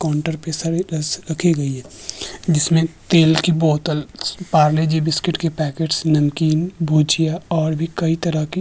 counter पे जिसमे तेल के बोतल पारले जी बिस्किट के पैकेट नमकीन भुजिया और भी कई तरह के --